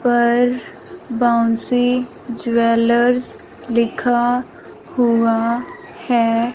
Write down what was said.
पर बॉन्सी ज्वेलर्स लिखा हुआ है।